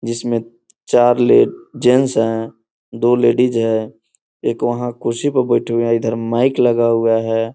जिसमें चार लेड जेंट्स है दो लेडीज है एक वहाँ कुर्सी पर बैठे हुए है इधर माइक लगा हुआ है।